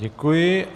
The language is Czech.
Děkuji.